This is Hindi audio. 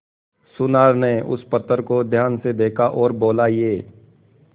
सुनार ने उस पत्थर को ध्यान से देखा और बोला ये